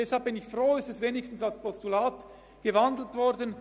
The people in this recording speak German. Deshalb bin ich froh, dass wenigstens die Umwandlung in ein Postulat erfolgt ist.